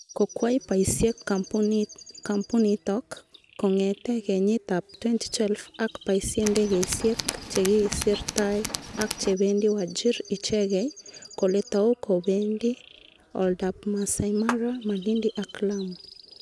Kokwai paisyet kampunitok kong'etee kenyit ap 2012 aki paisye ndegeisiek chegisirtai ak chebendi wajir ichegei, kole tau kobendii oldoap Masai mara, Malindi ak Lamu.